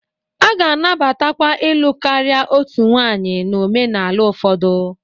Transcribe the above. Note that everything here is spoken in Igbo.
A ga-anabatakwa ịlụ karịa otu nwanyị na omenala ụfọdụ.